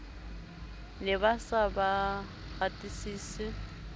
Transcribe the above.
ne ba sa ba ratesise